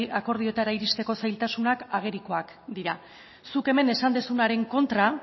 akordioetara irizteko zailtasunak agerikoak dira zuk hemen esan duzunaren kontra